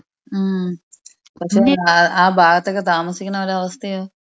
ഉം പക്ഷേ ആ ഭാഗത്തൊക്കെ താമസിക്കുന്നവരുടെ അവസ്ഥയോ?